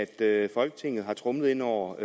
at folketinget har tromlet ind over